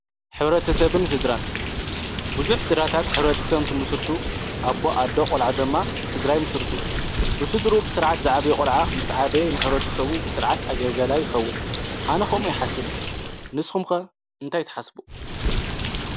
ኅብረ ተሰብን ስድራን ብዙኅ ሥራታት ኅብረ ተ ሰብምቲ ምስርቱ ኣቦ ኣዳ ቖልዖ ደማ ሥድራይ ምስርቱ ብሱድሩ ብሥርዓት ዝዕበ ቖልዓ ምስ ዓበየ ንኅብረተሰቡ ብሥርዓት ኣገገላ ይኸውን ኣነኸምኡ ይሓስብ ንስኹምከ እንታይትሓስቡ::